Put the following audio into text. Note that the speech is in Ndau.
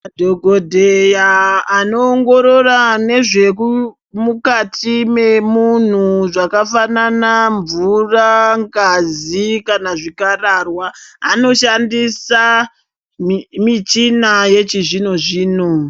Madhokodheya anoongorora ngezvemukati memunhu zvakafanana mvura, ngazi kana zvikararwa anoshandisa michina yechizvino zvino.